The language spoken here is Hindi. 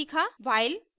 while loop